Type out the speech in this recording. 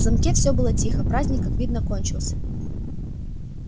в замке всё было тихо праздник как видно кончился